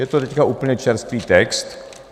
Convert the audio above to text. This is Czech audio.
Je to teď úplně čerstvý text.